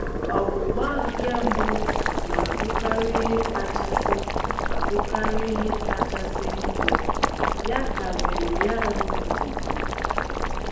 "Ọgbụgba nke mbụ na abụkarị ihe kachasị abụkarị ihe kachasị njọ", ya ka Maryann na-ekwu